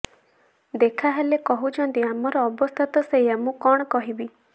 ଦେଖା ହେଲେ କହୁଛନ୍ତି ଆମ ଅବସ୍ଥା ତ ସେୟା ମୁଁ କଣ କହିବି